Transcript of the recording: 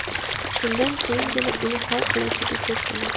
Shundan keyingina uni hal qiluvchi desak bo‘ladi.